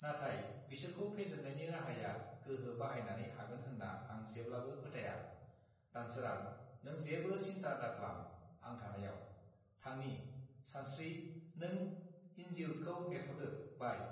नाथाय बिसोरखौ फेजेन्नायनि राहाया गोहो बाहायनानै हागोन होत्रा आं जेब्लाबो फोथाया दानसोरां नों जेबो सिन्था दाख्लाम आं थानायाव थांनि सानस्त्रि नों इनजिउर्दखौ नेथदो बाइ